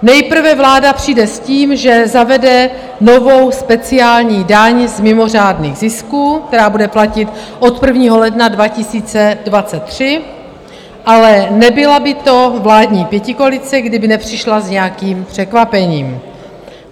Nejprve vláda přijde s tím, že zavede novou speciální daň z mimořádných zisků, která bude platit od 1. ledna 2023, ale nebyla by to vládní pětikoalice, kdyby nepřišla s nějakým překvapením.